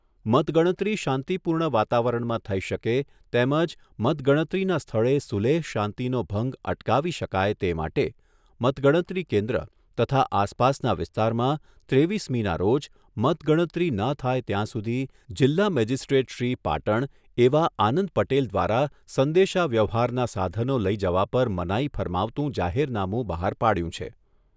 મતગણતરી શાંતિ પૂર્ણ વાતાવરણમાં થઈ શકે તેમજ મતગણતરીના સ્થળે સુલેહ શાંતિનો ભંગ અટકાવી શકાય તે માટે મતગણતરી કેન્દ્ર તથા આસપાસના વિસ્તારમાં ત્રેવીસમીના રોજ મતગણતરી ન થાય ત્યાં સુધી જિલ્લા મેજિસ્ટ્રેટ શ્રી, પાટણ એવા આનંદ પટેલ દ્વારા સંદેશા વ્યવહારના સાધનો લઈ જવા પર મનાઈ ફરમાવતું જાહેરનામું બહાર પાડ્યું છે.